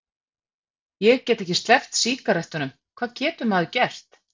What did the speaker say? Ég get ekki sleppt sígarettunum, hvað getur maður gert?